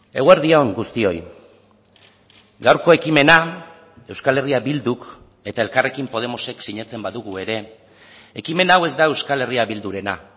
eguerdi on guztioi gaurko ekimena euskal herria bilduk eta elkarrekin podemosek sinatzen badugu ere ekimen hau ez da euskal herria bildurena